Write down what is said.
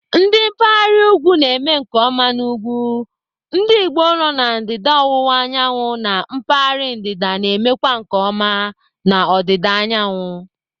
ndi mpaghara ukwu na-eme nke ọma na ukwu, ndi Igbo na ndịda ọwụwa anyanwụ, na mpaghara ndịda na eme kwa nke oma na ọdịda anyanwụ.